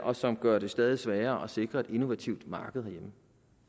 og som gør det stadig sværere at sikre et innovativt marked herhjemme